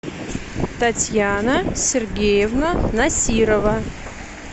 татьяна сергеевна насирова